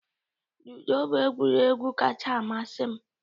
Ludo bụ egwuregwu kacha amasị m